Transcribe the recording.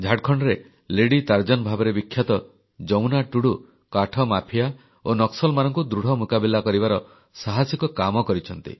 ଝାଡ଼ଖଣ୍ଡରେ lady Tarzan ଭାବରେ ବିଖ୍ୟାତ ଯମୁନା ଟୁଡୁ କାଠ ମାଫିଆ ଓ ନକ୍ସଲମାନଙ୍କୁ ଦୃଢ଼ ମୁକାବିଲା କରିବାର ସାହସିକ କାମ କରିଛନ୍ତି